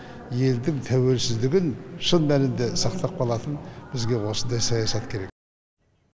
елдің тәуелсіздігін шын мәнінде сақтап қалатын бізге осындай саясат керек